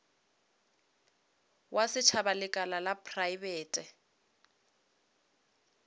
wa setšhaba lekala la praebete